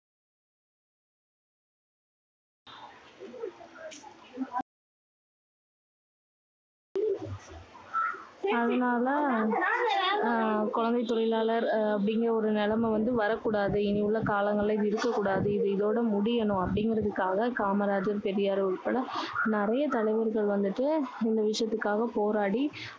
அதுனால, அஹ் குழந்தைத் தொழிலாளர் அப்படிங்குற ஒரு நிலைமை வந்து வரக்கூடாது. இனி உள்ள காலங்களில இது இருக்கக்கூடாது. இது இதோடு முடியணும். அப்படிங்குறதுக்காக காமராஜர், பெரியார் உட்பட நிறைய தலைவர்கள் வந்துட்டு இந்த விஷயத்துக்காக போராடி